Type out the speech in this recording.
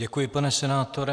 Děkuji, pane senátore.